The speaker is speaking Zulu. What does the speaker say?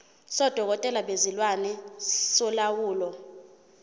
sodokotela bezilwane solawulo